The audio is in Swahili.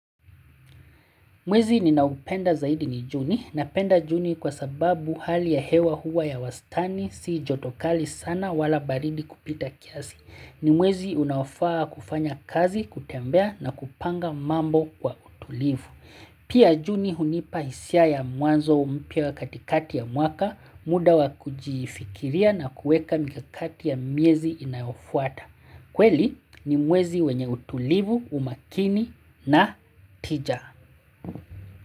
Mwezi ninaopenda zaidi ni juni. Napenda juni kwa sababu hali ya hewa huwa ya wastani si joto kali sana wala baridi kupita kiasi. Ni mwezi unaofaa kufanya kazi, kutembea na kupanga mambo kwa utulivu. Pia juni hunipa hisia ya mwanzo mpya katikati ya mwaka, muda wa kujifikiria na kuweka mikakati ya miezi inayofuata. Kweli ni mwezi wenye utulivu, umakini na tija.